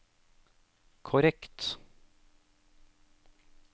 korrekt